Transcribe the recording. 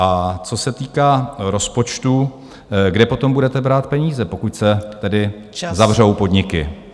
A co se týká rozpočtu, kde potom budete brát peníze, pokud se tedy zavřou podniky?